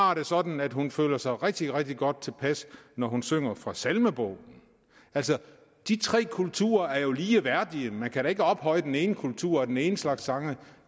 har det sådan at hun føler sig rigtig rigtig godt tilpas når hun synger fra salmebogen altså de tre kulturer er jo ligeværdige man kan da ikke ophøje den ene kultur og den ene slags sange